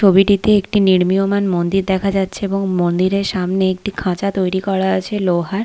ছবিটিতে একটি নির্মীয়মান মন্দির দেখা যাচ্ছে এবং মন্দিরের সামনে একটি খাঁচা তৈরি করা আছে লোহার।